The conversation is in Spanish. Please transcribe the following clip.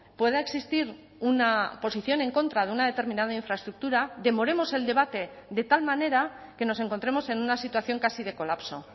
pueda existir una posición en contra de una determinada infraestructura demoremos el debate de tal manera que nos encontremos en una situación casi de colapso